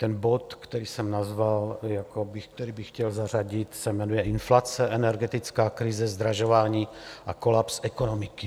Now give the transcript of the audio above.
Ten bod, který jsem nazval, který bych chtěl zařadit, se jmenuje Inflace, energetická krize, zdražování a kolaps ekonomiky.